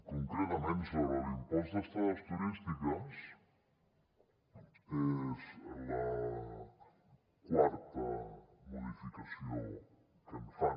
concretament sobre l’impost d’estades turístiques és la quarta modificació que fan